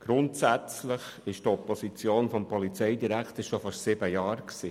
Grundsätzlich war das bereits seit sieben Jahren die Position des Polizeidirektors;